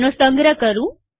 તેનો સંગ્રહ કરું